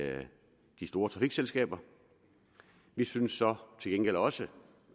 store trafikselskaber vi synes så til gengæld også